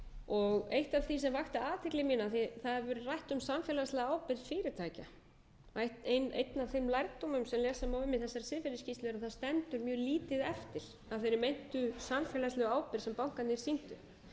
einn af þeim lærdómum sem lesa á um í þessari siðferðisskýrslu er að það stendur mjög lítið eftir af þeirri meintu samfélagslegu ábyrgð sem bankarnir sýndu